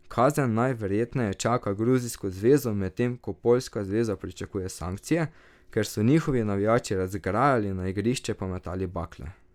Kazen najverjetneje čaka gruzijsko zvezo, medtem ko poljska zveza pričakuje sankcije, ker so njihovi navijači razgrajali, na igrišče pa metali bakle.